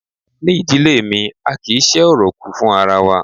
Ní ìdílé mi, a kì í ṣé ọ̀rọ̀ kù fún ara wa.